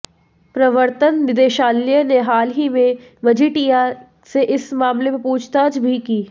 प्रवर्तन निदेशालय ने हाल ही में मजीठिया से इस मामले में पूछताछ भी की